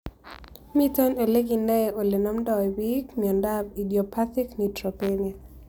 Mito ole kinae ole namdoi pich miondop idiopathic neutropenia